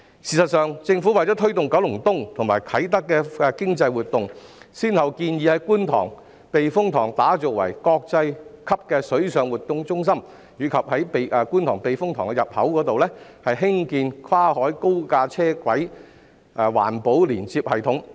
事實上，政府為推動九龍東及啟德的經濟活動，先後建議在觀塘避風塘打造國際級的水上活動中心，以及在觀塘避風塘入口處興建跨海高架單軌環保連接系統。